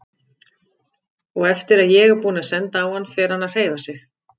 Og eftir að ég er búinn að senda á hann fer hann að hreyfa sig.